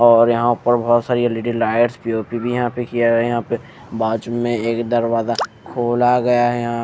और यहाँ पर बहोत सारी एल_ई_डी लाइट्स पी_ओ_पी भी यहाँ पे किया गया है यहाँ पे बाजू में एक दरवाजा खोला गया है यहाँ --